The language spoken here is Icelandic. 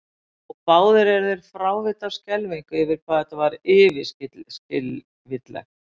Og báðir eru þeir frávita af skelfingu yfir því hvað þetta er yfirskilvitlegt.